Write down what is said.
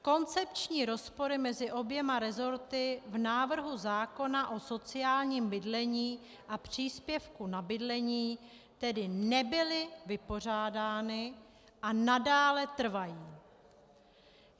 Koncepční rozpory mezi oběma resorty v návrhu zákona o sociálním bydlení a příspěvku na bydlení tedy nebyly vypořádány a nadále trvají.